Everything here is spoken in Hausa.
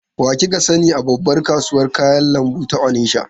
Wa kika sani a babbar kasuwar kayan lambu ta onisha?